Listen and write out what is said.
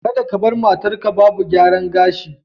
Kada ka bar matarka babu gyaran gashi;